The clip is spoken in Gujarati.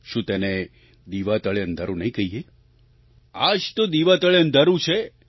શું તેને દીવા તળે અંધારું નહીં કહીએ આ જ તો દીવા તળે અંધારું છે